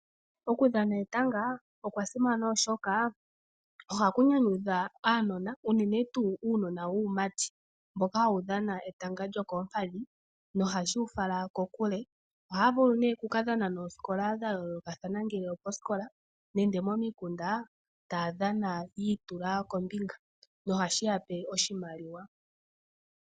Okudhana etanga okwasimana oshoka ohaku nyanyudha uunona wuumati mboka hawu dhana etanga lyokoompadhi nohashi wufala kokule . Ohaya vulu nee okukadhana noosikola dha yoolokathana ngele opo siikola nenge momikunda taya dhana yi itula kombinga no ha yeyapo oshimaliwa.